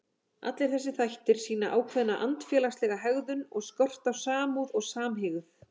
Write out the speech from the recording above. Allir þessir þættir sýna ákveðna andfélagslega hegðun og skort á samúð og samhygð.